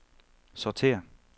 sortér